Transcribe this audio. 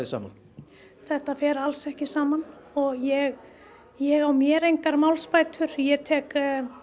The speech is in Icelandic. saman þetta fer alls ekki saman og ég ég á mér engar málsbætur ég tek